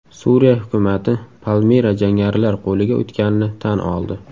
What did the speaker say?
Suriya hukumati Palmira jangarilar qo‘liga o‘tganini tan oldi.